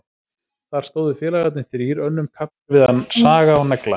Þar stóðu félagarnir þrír önnum kafnir við að saga og negla.